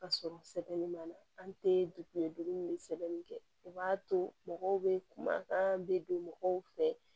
Ka sɔrɔ sɛbɛnni ma na an tɛ dugu ye dumuni bɛ sɛbɛnni kɛ o b'a to mɔgɔw bɛ kumakan bɛ don mɔgɔw fɛ